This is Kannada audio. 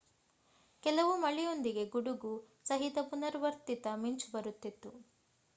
ಕೆಲವು ಮಳೆಯೊಂದಿಗೆ ಗುಡುಗು ಸಹಿತ ಪುನರ್ವರ್ತಿತ ಮಿಂಚು ಬರುತ್ತಿತ್ತು